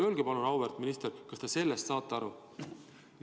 Öelge palun, auväärt minister, kas te saate sellest aru!